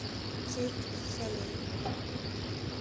цирк дю солей